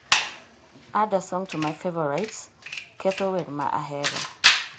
add a song to my favorites (ketho wer ma ahero)